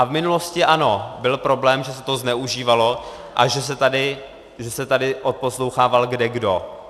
A v minulosti ano, byl problém, že se to zneužívalo a že se tady odposlouchával kdekdo.